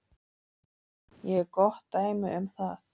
Ég er gott dæmi um það.